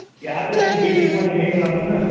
buildings ମାନେ ହେଇଗଲାଣି ନ